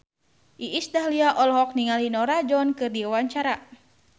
Iis Dahlia olohok ningali Norah Jones keur diwawancara